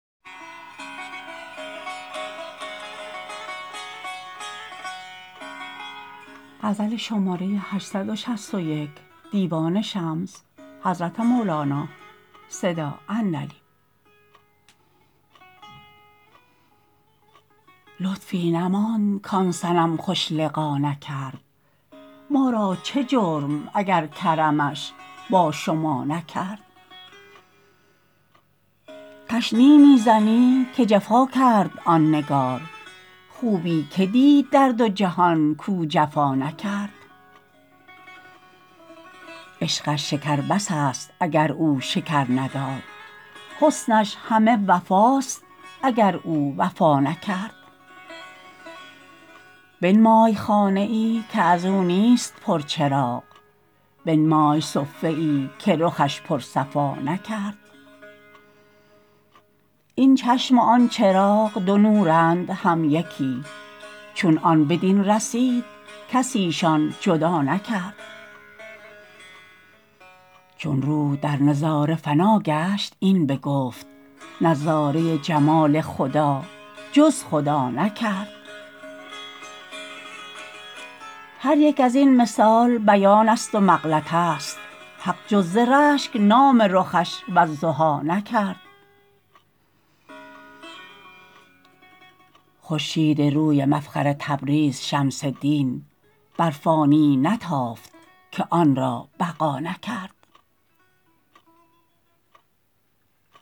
لطفی نماند کان صنم خوش لقا نکرد ما را چه جرم اگر کرمش با شما نکرد تشنیع می زنی که جفا کرد آن نگار خوبی که دید در دو جهان کو جفا نکرد عشقش شکر بس است اگر او شکر نداد حسنش همه وفاست اگر او وفا نکرد بنمای خانه ای که از او نیست پرچراغ بنمای صفه ای که رخش پرصفا نکرد این چشم و آن چراغ دو نورند هر یکی چون آن به هم رسید کسیشان جدا نکرد چون روح در نظاره فنا گشت این بگفت نظاره جمال خدا جز خدا نکرد هر یک از این مثال بیانست و مغلطه است حق جز ز رشک نام رخش والضحی نکرد خورشیدروی مفخر تبریز شمس دین بر فانیی نتافت که آن را بقا نکرد